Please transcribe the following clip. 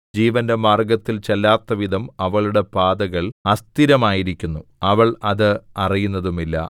ജീവന്റെ മാർഗ്ഗത്തിൽ ചെല്ലാത്തവിധം അവളുടെ പാതകൾ അസ്ഥിരമായിരിക്കുന്നു അവൾ അത് അറിയുന്നതുമില്ല